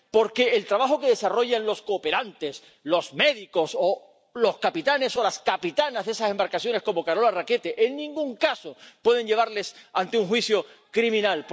porque el trabajo que desarrollan los cooperantes, los médicos o los capitanes o las capitanas de esas embarcaciones, como Carola Rackete, en ningún caso puede llevarles ante un juicio criminal.